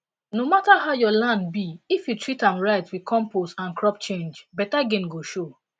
no matter how small your land be if you dey treat am right with compost and crop changebeta gain go show